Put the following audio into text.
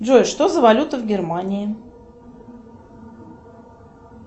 джой что за валюта в германии